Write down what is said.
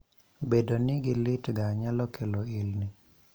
bedo ni gilit ga nyalo kelo ilni